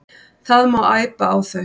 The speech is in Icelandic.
Það má æpa á þau.